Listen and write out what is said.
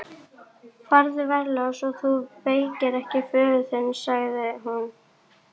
Farðu varlega svo þú vekir ekki föður þinn, sagði hún.